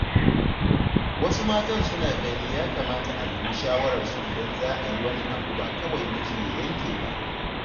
Wasu matan suna ganin ya kamata a nemi shawararsu idan za a yi wani abun ba kawai miji ya yanke ba.